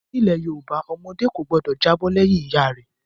Nílẹ̀ Yorùbá ọmọdé kò gbọdọ̀ jábọ́ lẹ́yìn ìyá rẹ̀.